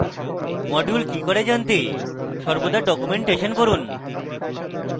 module কি করে জানতে সর্বদা documentation পড়ুন